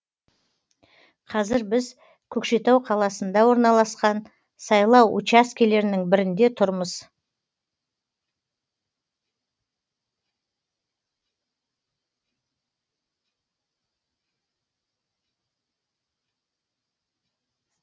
қазір біз көкшетау қаласында орналасқан сайлау учаскелерінің бірінде тұрмыз